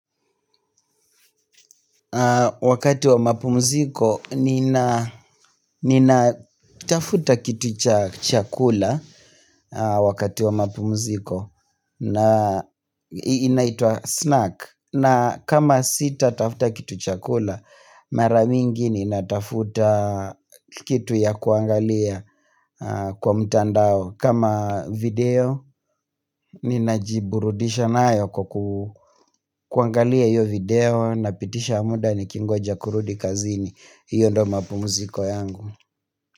Wakati wa mapumziko ninatafuta kiti cha chakula wakati wa mapumziko. Na inaitwa snack na kama sitatafuta kitu chakula. Mara mingi ninafuta kitu ya kuangalia kwa mtandao. Kama video ninajiburudisha nayo kwa kuangalia hiyo video. Napitisha muda nikingoja kurudi kazini. Hiyo ndo mapumziko yangu.